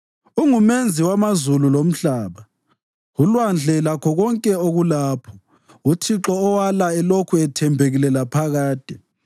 UnguMenzi wamazulu lomhlaba, ulwandle lakho konke okulapho: uThixo owala elokhu ethembekile laphakade.